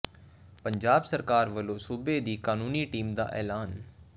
ਪੰਜਾਬ ਸਰਕਾਰ ਵੱਲੋਂ ਸੂਬੇ ਦੀ ਕਾਨੂੰਨੀ ਟੀਮ ਦਾ ਐਲਾਨ